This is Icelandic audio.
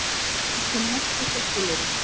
Annasöm nótt hjá slökkviliði